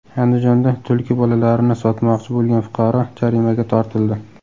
Andijonda tulki bolalarini sotmoqchi bo‘lgan fuqaro jarimaga tortildi.